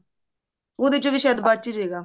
ਉਹਦੇ ਚੋਂ ਵੀ ਸ਼ਾਇਦ ਬਚ ਹੀ ਜੇਗਾ